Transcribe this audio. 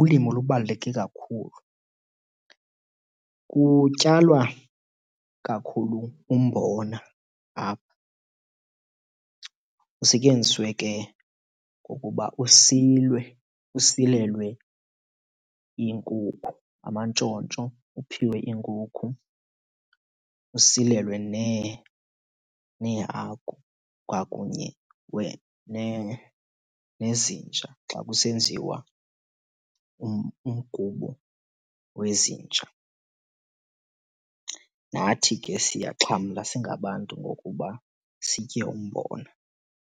ulimo lubaluleke kakhulu. Kutyalwa kakhulu umbona apha. Usetyenziswe ke ngokuba usilwe usilelwe iinkukhu, amantshontsho, uphiwe iinkukhu, usilelwe neehagu kwakunye nezinja xa kusenziwa umgubo wezinja. Nathi ke siyaxhamla singabantu ngokuba sitye umbona.